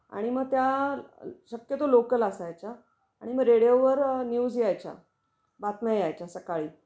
आणि मग त्या शक्यतो लोकल असायच्या आणि मग रेडिओ वर न्यूज यायच्या. बातम्या यायच्या सकाळी